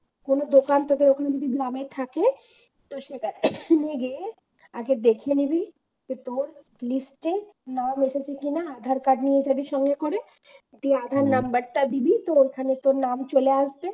কোন দোকান থেকে যদি জানাই থাকে তো সেটা শুনে গিয়ে আগে দেখে নিবি কোথায় নিচ্ছে নাম এসেছে কিনা আধার card নিয়ে যাবি সঙ্গে করে তুই আধার number টা দিবি তো ওখানে তোর নাম চলে আসবে